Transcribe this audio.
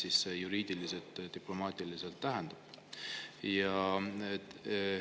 Mida see juriidiliselt ja diplomaatiliselt tähendab?